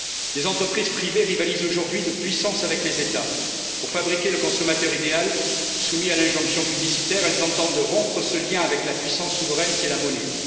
Des entreprises privées rivalisent aujourd'hui de puissance avec les États. Pour fabriquer le consommateur idéal, soumis à l'injonction publicitaire, elles entendent rompre ce lien avec la puissance souveraine qu'est la monnaie.